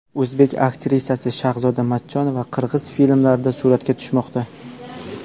O‘zbek aktrisasi Shahzoda Matchonova qirg‘iz filmlarida suratga tushmoqda.